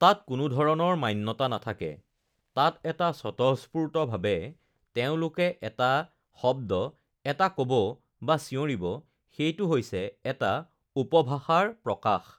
তাত কোনো ধৰণৰ মান্যতা নাথাকে, তাত এটা স্বতঃস্ফূৰ্তভাৱে তেওঁলোকে এটা শব্দ এটা ক'ব বা চিঞৰিব, সেইটো হৈছে এটা উপভাষাৰ প্ৰকাশ